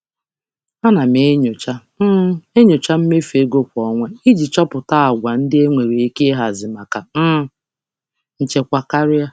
Ana m enyocha m enyocha mmefu ego kwa ọnwa iji chọpụta àgwà ndị enwere ike ịhazi maka um nchekwa karịa.